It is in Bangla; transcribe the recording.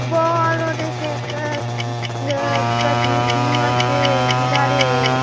বড় -অ -অ দেখে একটা উম্ম উঃ দুটা দিদি আছে দুধারে-এ ।